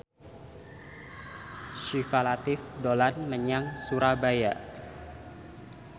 Syifa Latief dolan menyang Surabaya